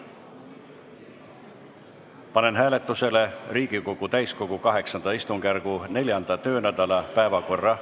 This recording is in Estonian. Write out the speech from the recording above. Panen hääletusele Riigikogu täiskogu VIII istungjärgu 4. töönädala päevakorra.